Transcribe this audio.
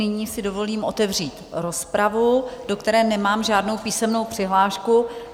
Nyní si dovolím otevřít rozpravu, do které nemám žádnou písemnou přihlášku.